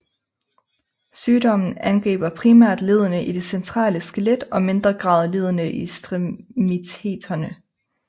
Sygdommen angriber primært leddene i det centrale skelet og mindre grad leddene i ekstremiteterne